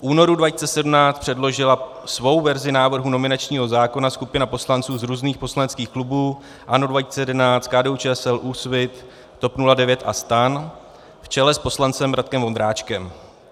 V únoru 2017 předložila svou verzi návrhu nominačního zákona skupina poslanců z různých poslaneckých klubů - ANO 2011, KDU-ČSL, Úsvit, TOP 09 a STAN v čele s poslancem Radkem Vondráčkem.